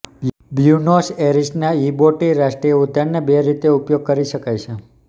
Buenos ઍરિસના યિબોટી રાષ્ટ્રીય ઉદ્યાનને બે રીતે ઉપયોગ કરી શકાય છે